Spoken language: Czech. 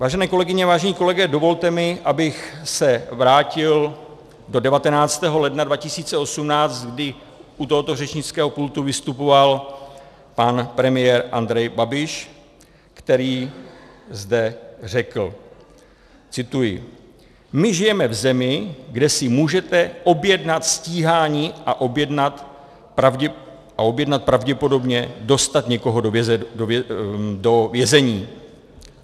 Vážené kolegyně, vážení kolegové, dovolte mi, abych se vrátil do 19. ledna 2018, kdy u tohoto řečnického pultu vystupoval pan premiér Andrej Babiš, který zde řekl - cituji: "My žijeme v zemi, kde si můžete objednat stíhání a objednat, pravděpodobně dostat někoho do vězení."